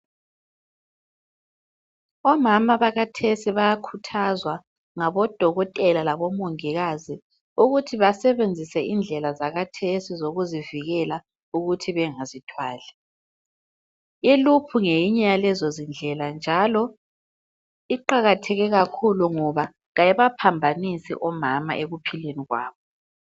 Omama bakhathesi bayakhuthazwa ngaboDokotela laboMongikazi ukuthi basebenzise indlela zakhathesi zokuzivikela ukuthi bengazithwalai. ILoop ngeyinye yalezondlela njalo iqakatheke kakhulu ngoba kayibaphambanisi omama ekuphileni kwabo.